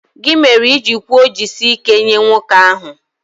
Gị mere i ji kwuo 'jisie ike' nye nwoke ahụ